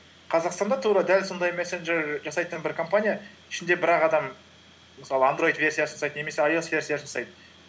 қазақстанда тура дәл сондай месенджер жасайтын бір компания ішінде бір ақ адам мысалы андроид версия жасайды немесе айоэс версия жасайды